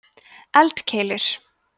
eldkeilur